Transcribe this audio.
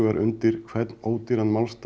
undir hvern ódýran málstað